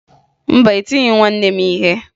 Mba, etighi m nwanne m ihe